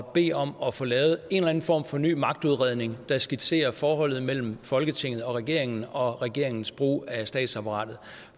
bede om at få lavet en eller anden form for ny magtudredning der skitserer forholdet mellem folketinget og regeringen og regeringens brug af statsapparatet